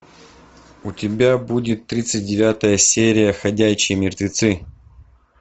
у тебя будет тридцать девятая серия ходячие мертвецы